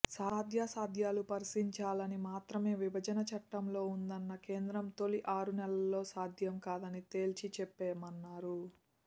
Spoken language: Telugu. సాధ్యాసాధ్యాలు పరిశీలించాలని మాత్రమే విభజన చట్టంలో ఉందన్న కేంద్రం తొలి ఆరు నెలల్లోనే సాధ్యం కాదని తేల్చి చెప్పామన్నారు